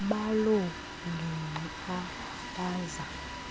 baloo ngingqi abaza